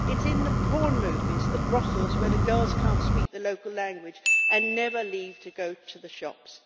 It's in the porn movies and the brothels where the girls can't speak the local language and never leave to go to the shops.